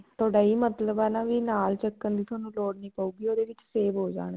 ਤੁਹਾਡਾ ਇਹੀ ਮਤਲਬ ਆ ਨਾ ਵੀ ਨਾਲ ਚੱਕਣ ਦੀ ਥੋਨੂੰ ਲੋੜ ਨਹੀਂ ਪਉਗੀ ਉਹਦੇ ਵਿੱਚ save ਹੋ ਜਾਣਗੇ